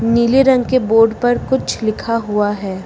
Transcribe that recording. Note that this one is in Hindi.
नीले रंग के बोर्ड पर कुछ लिखा हुआ है।